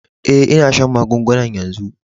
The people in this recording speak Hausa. Eh, n'na shan magungunan yanzu.